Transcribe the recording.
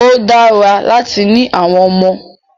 Ó dára láti ni àwọn ọmọ.